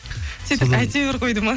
сөйтіп әйтеуір қойды ма